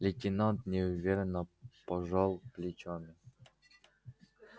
лейтенант неуверенно пожал плечами